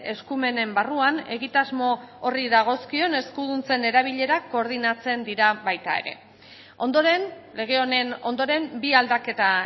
eskumenen barruan egitasmo horri dagozkion eskuduntzen erabilerak koordinatzen dira baita ere ondoren lege honen ondoren bi aldaketa